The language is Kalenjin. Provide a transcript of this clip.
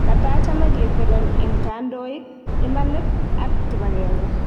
katachame ketelel eng kandoik ,imanit ak kipagenge